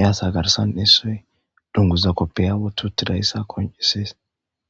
yaasa garsan issoy dunguza koppiya wuti uttidayssa koncisees